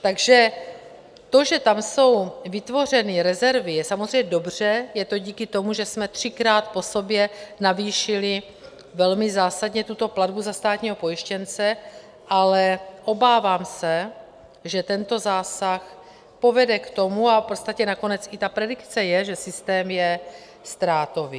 Takže to, že tam jsou vytvořeny rezervy, je samozřejmě dobře, je to díky tomu, že jsme třikrát po sobě navýšili velmi zásadně tuto platbu za státního pojištěnce, ale obávám se, že tento zásah povede k tomu, a v podstatě nakonec i ta predikce je, že systém je ztrátový.